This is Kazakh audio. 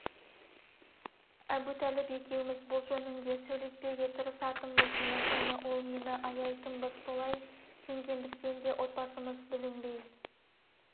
әбутәліп екеуміз бұл жөнінде сөйлеспеуге тырысатынбыз мен оны ол мені аяйтынбыз солай сенгендіктен де отбасымыз бүлінбей